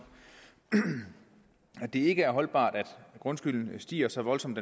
at det ikke er holdbart at grundskylden stiger så voldsomt